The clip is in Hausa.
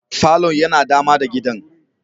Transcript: Falon yana dama da gidan.